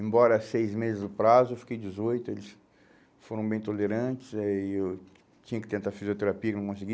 Embora seis meses no prazo, eu fiquei dezoito, eles foram bem tolerantes aí eu tinha que tentar fisioterapia e não consegui.